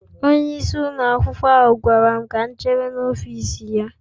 Onyeisi ụlọ akwụkwọ ahụ gwara m ka m chere n'ọfịs ya